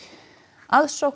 aðsókn í